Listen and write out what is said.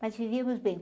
Mas vivíamos bem.